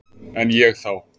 En ég þá?